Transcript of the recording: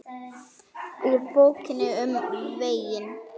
Úr Bókinni um veginn